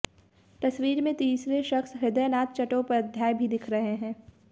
तस्वीर में तीसरे शख्स ह्रदयनाथ चटोपाध्याय भी दिख रहे हैं